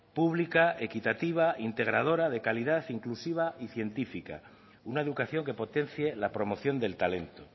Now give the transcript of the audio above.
pública equitativa integradora de calidad inclusiva y científica una educación que potencie la promoción del talento